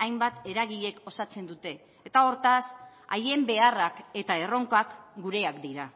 hainbat eragilek osatzen dute eta hortaz haien beharrak eta erronkak gureak dira